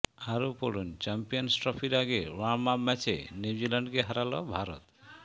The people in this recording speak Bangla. আরও পড়ুন চ্যাম্পিয়ন্স ট্রফির আগে ওয়ার্ম আপ ম্যাচে নিউজিল্যান্ডকে হারাল ভারত